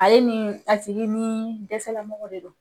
Ale ni pasiki ni dɛsɛlamɔgɔ de don